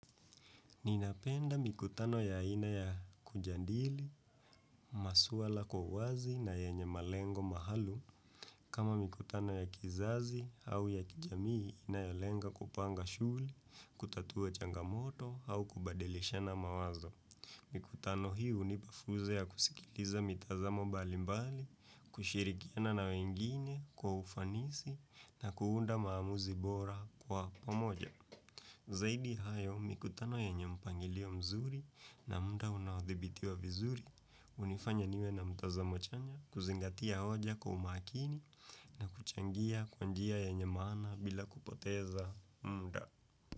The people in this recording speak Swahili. Ninapenda mikutano ya aina ya kujadili, maswala kwa uwazi na yenye malengo maalum kama mikutano ya kizazi au ya kijamii inayolenga kupanga shughuli, kutatua changamoto au kubadilishana mawazo. Mikutano hii hunipa fursa ya kusikiliza mitazamo mbali mbali, kushirikiana na wengine kwa ufanisi na kuunda maamuzi bora kwa pamoja. Zaidi hayo mikutano yenye mpangilio mzuri na muda unaodhibitiwa vizuri, hunifanya niwe na mtazamo chanya kuzingatia hoja kwa umakini na kuchangia kwa njia yenye maana bila kupoteza muda.